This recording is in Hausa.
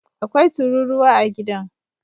Akwai tururuwa a gidan